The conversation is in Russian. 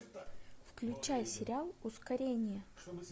включай сериал ускорение